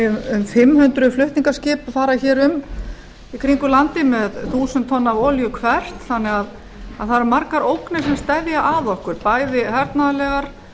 um fimm hundruð flutningaskip fara hér um í kringum landið með þúsund tonn af olíu hvert þannig að það eru margar ógnir sem steðja að okkur bæði hernaðarlegar